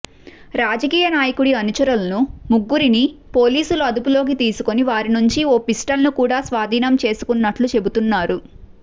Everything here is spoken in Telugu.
రాజకీయ నాయకుడి అనుచరులను ముగ్గురిని పోలీసులు అదుపులోకి తీసుకుని వారి నుంచి ఓ పిస్టల్ను కూడా స్వాధీనం చేసుకున్నట్లు చెబుతున్నారు